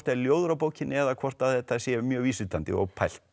er ljóður á bókinni eða hvort þetta sé mjög vísvitandi og pælt